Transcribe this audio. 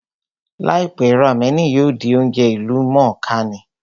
Láìpẹ́, rámẹ̀nì yóò di oúnjẹ ìlú mọ̀ọ́ kà ní